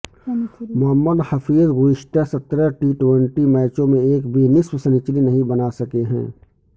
محمد حفیظ گذشتہ سترہ T twenty میچوں میں ایک بھی نصف سنچری نہیں بناسکے ہیں